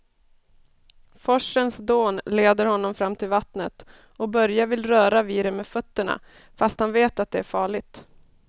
Forsens dån leder honom fram till vattnet och Börje vill röra vid det med fötterna, fast han vet att det är farligt.